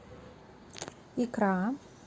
икра